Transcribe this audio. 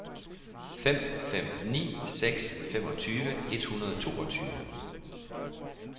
fem fem ni seks femogtyve et hundrede og toogtyve